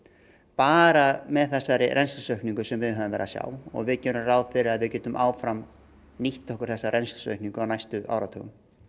bara með þessari rennslisaukningu sem við höfum verið að sjá og við gerum ráð fyrir að við getum áfram nýtt okkur þessa rennslisaukningu á næstu áratugum